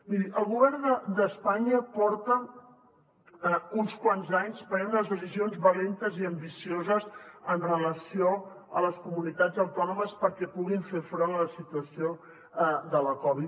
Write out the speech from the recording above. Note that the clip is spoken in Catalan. miri el govern d’espanya porta uns quants anys prenent unes decisions valentes i ambicioses amb relació a les comunitats autònomes perquè puguin fer front a la situació de la covid